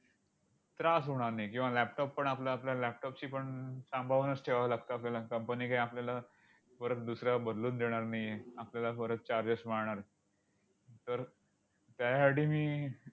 त्रास होणार नाही. किंवा laptop पण आपला आपला laptop ची पण सांभाळूनच ठेवावं लागतं आपल्याला. आणि company काय आपल्याला परत दुसरा बदलून देणार नाहीये. आपल्याला परत चार दिवस वाढणार आहेत. तर त्याहाठी मी